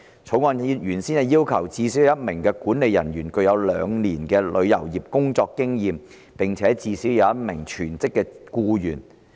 《條例草案》原先要求最少有1名管理人員具有兩年旅遊業工作經驗，並且最少有1名全職僱員。